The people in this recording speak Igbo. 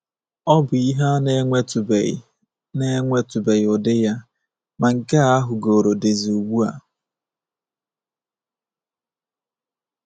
Ọ bụ ihe a na-enwetụbeghị na-enwetụbeghị ụdị ya, ma nke a hugoro dizi ugbu a.